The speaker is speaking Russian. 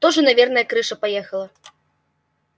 тоже наверное крыша поехала